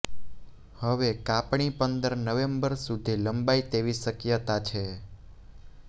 હવે કાપણી પંદર નવેમ્બર સુધી લંબાય તેવી શક્યતા છે